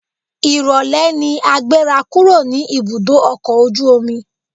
Ìrólé ni a gbéra kúrò ní ibùdó ọkọ̀ ojú omi.